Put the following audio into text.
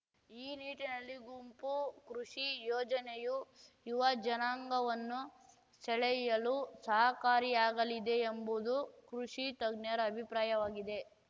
ಈ ನಿಟ್ಟಿನಲ್ಲಿ ಗುಂಪು ಕೃಷಿ ಯೋಜನೆಯು ಯುವಜನಾಂಗವನ್ನು ಸೆಳೆಯಲು ಸಹಕಾರಿಯಾಗಲಿದೆ ಎಂಬುದು ಕೃಷಿ ತಜ್ಞರ ಅಭಿಪ್ರಾಯವಾಗಿದೆ